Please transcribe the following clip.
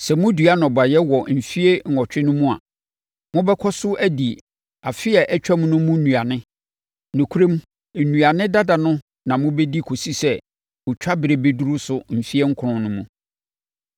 Sɛ modua nnɔbaeɛ wɔ mfeɛ nwɔtwe no mu a, mobɛkɔ so adi afe a ɛtwaam no mu nnuane. Nokorɛm, nnuane dada no na mobɛdi kɔsi sɛ otwaberɛ bɛduru so mfeɛ nkron no mu.